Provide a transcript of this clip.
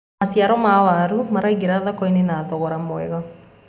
maciaro ma waru maraingira thoko-inĩ na thogora mwega